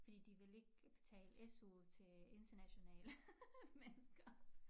Fordi de vil ikke betale SU til internationale mennesker